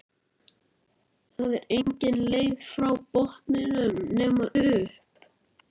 Það er engin leið frá botninum nema upp